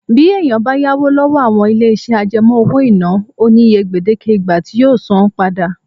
Bí èèyàn bá yá owó lọ́wọ́ àwọn ilé-iṣẹ́ àjẹmọ́ owó-ìná, ó ní iye gbèdéke ìgbà tí yóò san án padà